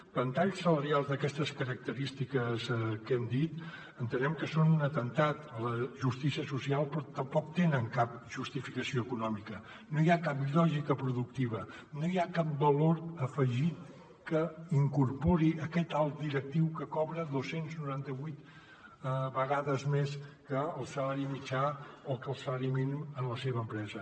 ventalls salarials d’aquestes característiques que hem dit entenem que són un atemptat a la justícia social però tampoc tenen cap justificació econòmica no hi ha cap lògica productiva no hi ha cap valor afegit que incorpori aquest alt directiu que cobra dos cents i noranta vuit vegades més que el salari mitjà o que el salari mínim en la seva empresa